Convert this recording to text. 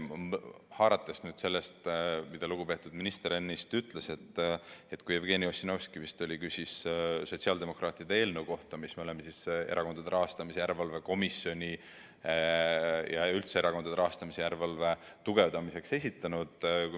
Haaran kinni sellest, mida lugupeetud minister ennist ütles, kui vist Jevgeni Ossinovski küsis sotsiaaldemokraatide eelnõu kohta, mille me oleme Erakondade Rahastamise Järelevalve Komisjoni ja üldse erakondade rahastamise järelevalve tugevdamiseks esitanud.